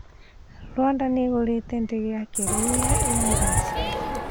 Rwanda niigurite ndege ya kiriu ya Airbus